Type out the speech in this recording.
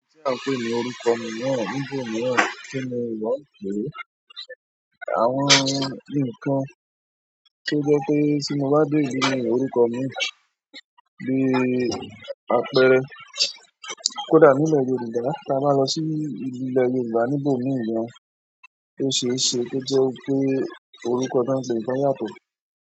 Tí a pé ní orúkọ mi ni Ògbóni ni kí n wá pe àwọn nǹkan ṣe jẹ́ pé tí mo bá dèdí ni orúkọ mi bí àpẹẹrẹ kódà nílẹ̀ Yorùbá, tí a bá lọ sí ìpínlẹ̀ Yorùbá níbo mìí gan, ó ṣe é ṣe pé jẹ́ pé orúkọ náà péńpé yàtọ̀.